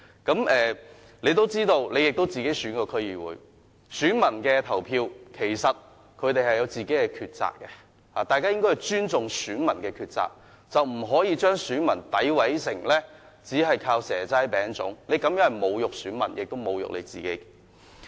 他自己也曾參選區議會，所以他應該知道選民在投票時有自己的抉擇，大家應尊重選民的抉擇，不應將他們詆毀成只想要"蛇齋餅粽"，他這樣說是侮辱選民，也侮辱了自己。